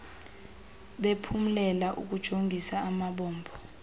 bephumlela ukujongis amabombo